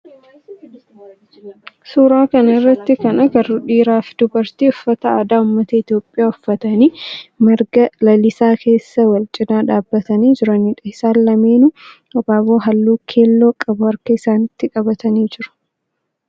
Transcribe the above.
Suuraa kana irratti kan agarru dhiira fi dubartii uffata aadaa ummata Itiyoophiyaa uffatanii marga lalisaa keessa wal cinaa dhaabbatanii jiranidha. Isaan lameenuu abaaboo halluu keelloo qabu harka isaanitti qabatanii jiru.